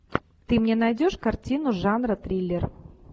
ты мне найдешь картину жанра триллер